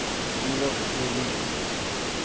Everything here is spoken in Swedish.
Olof Brolin